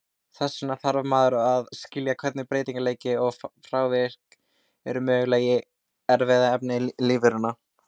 Þess vegna þarf maður að skilja hvernig breytileiki og frávik eru möguleg í erfðaefni lífveranna.